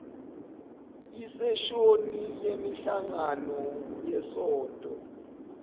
iseshoni yemihlangano yesonto